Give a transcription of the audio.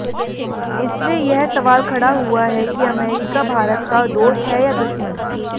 इससे यह सवाल खड़ा हुआ है कि अमेरिका भारत का दोस्त है या दुश्मन